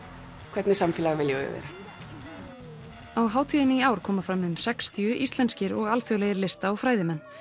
hvernig samfélag viljum við vera á hátíðinni í ár koma fram um sextíu íslenskir og alþjóðlegir lista og fræðimenn